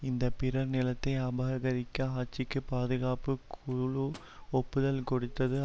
இந்த பிறர் நிலத்தை அபகரித்த ஆட்சிக்கு பாதுகாப்பு குழு ஒப்புதல் கொடுத்தது